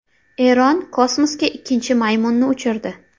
Eron kosmosga ikkinchi maymunni uchirdi.